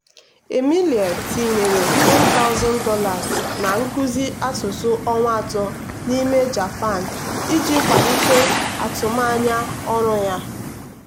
emily tinyere $10000 na nkuzi asụsụ ọnwa atọ n'ime japan iji kwalite atụmanya ọrụ ya.